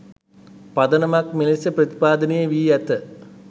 පදනමක් මෙලෙස ප්‍රතිපාදනය වී ඇත.